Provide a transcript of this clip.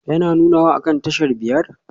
Yana nunawa akan tashar biyar?